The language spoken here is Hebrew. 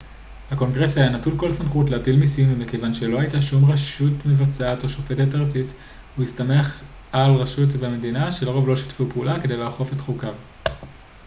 הקונגרס היה נטול כל סמכות להטיל מיסים ומכיוון שלא הייתה שום רשות מבצעת או שופטת ארצית הוא הסתמך על הרשויות במדינות שלרוב לא שיתפו פעולה כדי לאכוף את חוקיו